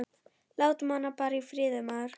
Láttu hana bara í friði, maður.